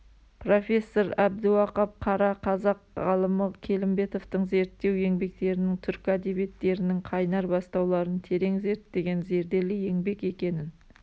профессор әбдіуақап қара қазақ ғалымы келімбетовтың зерттеу еңбектерінің түркі әдебиеттерінің қайнар-бастауларын терең зерттеген зерделі еңбек екенін